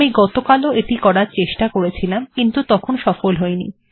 আমি গতকাল ও এটি করার প্রচেষ্টা করছিলাম কিন্তু তখন সফল হইনি